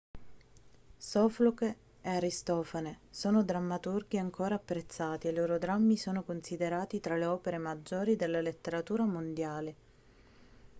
sofocle e aristofane sono drammaturghi ancora apprezzati e i loro drammi sono considerati tra le opere maggiori della letteratura mondiale